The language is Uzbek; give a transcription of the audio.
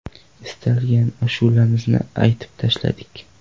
Istalgan ashulamizni aytib tashadik.